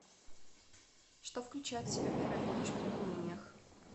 что включает в себя первая помощь при ранениях